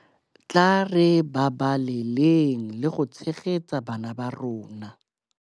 Tla re babaleleng le go tshegetsa bana ba rona.